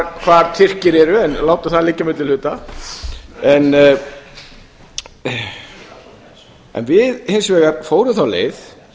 hvar tyrkir eru en látum það liggja á milli hluta en við fórum hins vegar þá leið